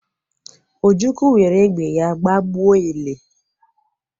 Ojukwu were egbe ya gbagbuo ele.